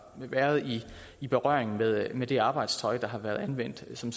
været i berøring med med det arbejdstøj der har været anvendt som